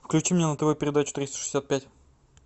включи мне на тв передачу триста шестьдесят пять